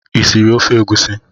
Ị siri ofe egusi?